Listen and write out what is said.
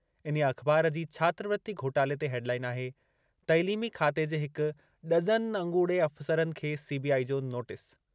इन्हीअ अख़बार जी छात्रवृति घोटाले ते हेडलाइन आहे- तइलीमी खाते जे हिक डज़न अॻूणे अफ़सरनि खे सीबीआई जो नोटिस।